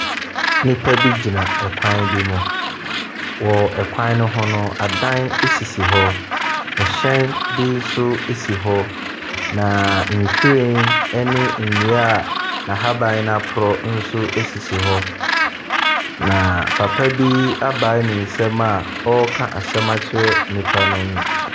Nnipa bi gyina kwan bi mu. Wɔ kwan no ho no, adan sisi hɔ. Hyɛn bi nso si hɔ, na nhwiren ne nnua a n'ahaban no aporo nso sisi hɔ, na papa bi abae ne nsam a ɔreka asɛm akyerɛ nnipa no.